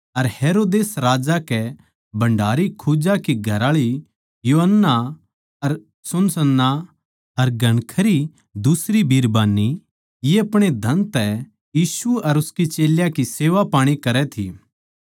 अर हेरोदेस राजा के भण्डारी खोजा की घरआळी योअन्ना अर सूंसन्नाह अर घणखरी दुसरी बिरबान्नी ये अपणे धन तै यीशु अर उसके चेल्यां की सेवापाणी करै थी